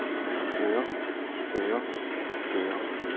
fører fører fører